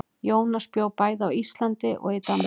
Jónas bjó bæði á Íslandi og í Danmörku.